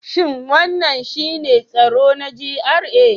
Shin wannan shine tsaro na GRA?